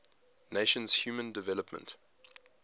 nations human development